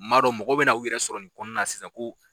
Ma dɔ mɔgɔ bɛna n'u yɛrɛ sɔrɔ nin kɔnɔna na sisan ko.